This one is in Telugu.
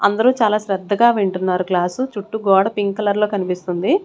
అందరూ చాలా శ్రద్ధగా వింటున్నారు క్లాసు చుట్టూ గోడ పింక్ కలర్ లో కనిపిస్తుంది.